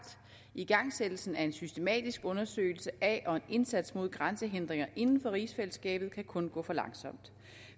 igangsættelsen af en systematisk undersøgelse af og en indsats mod grænsehindringer inden for rigsfællesskabet kan kun gå for langsomt